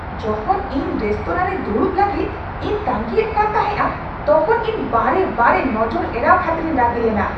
ᱡᱚᱠᱷᱚᱱ ᱤᱧ ᱨᱮᱥᱛᱳᱨᱟ ᱨᱮ ᱫᱩᱲᱩᱵ ᱞᱟᱹᱜᱤᱫ ᱤᱧ ᱛᱟᱺᱜᱤᱭᱮᱫ ᱠᱟᱱ ᱛᱟᱦᱮᱸᱜᱼᱟ ᱛᱚᱠᱷᱚᱱ ᱤᱧ ᱵᱟᱨᱮ ᱵᱟᱨᱮ ᱱᱚᱡᱚᱨ ᱮᱲᱟᱣ ᱠᱷᱟᱹᱛᱤᱨᱤᱧ ᱨᱟᱹᱜᱤ ᱞᱮᱱᱟ, ᱾